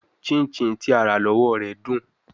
Chinchin ti a ra lọwọ rẹ dun